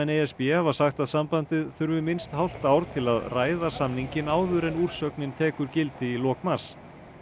e s b hafa sagt að sambandið þurfi minnst hálft ár til að ræða samninginn áður en úrsögnin tekur gildi í lok mars